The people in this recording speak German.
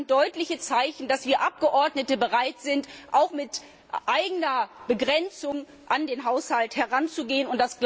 Das sind deutliche Zeichen, dass wir Abgeordnete bereit sind, auch mit eigenen Beschränkungen an den Haushalt heranzugehen.